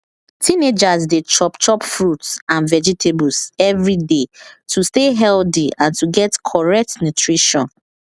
teenagers dey chop chop fruits and vegetables every day to stay healthy and to get correct nutrition